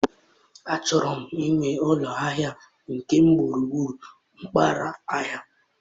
Achọrọ m iwu ụlọ ahịa nke m gburugburu mpaghara ahịa.